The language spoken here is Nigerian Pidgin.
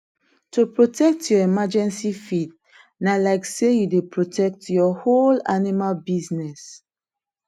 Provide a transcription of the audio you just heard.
to protect your emergency feed na like say you dey protect your whole animal business